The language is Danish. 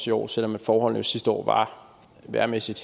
i år selv om forholdene sidste år vejrmæssigt